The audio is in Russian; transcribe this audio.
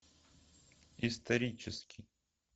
исторический